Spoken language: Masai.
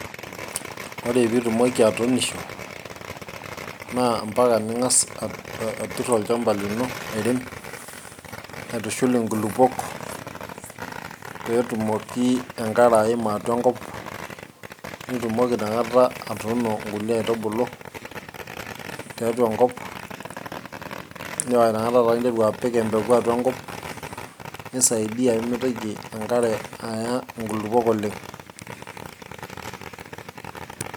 ore pitumoki atuunisho naa ampaka ning'as aa aturr olchamba lino airem aitushul inkulupuok petumoki enkare aima atua enkop nitumoki inakata atuuno nkulie aitubulu tiatua enkop paa inakata taa interu apik empeku atua enkop nisaidiyia pemitoki enkare aya inkulupuok oleng.